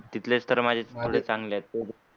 तिथेच तर माझ्या तुम्हाला चांगले आहे ते.